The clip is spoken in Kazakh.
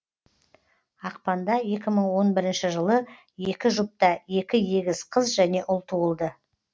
ақпанда екі мың он бірінші жылы екі жұпта екі егіз қыз және ұл туылды